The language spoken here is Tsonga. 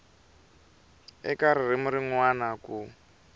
eka ririmi rin wana ku